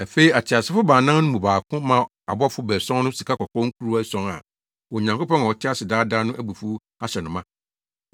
Afei ateasefo baanan no mu baako maa abɔfo baason no sikakɔkɔɔ nkuruwa ason a Onyankopɔn a ɔte ase daa daa no abufuw ahyɛ no ma.